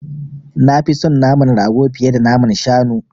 Nafi son naman rago fiye da naman shanu.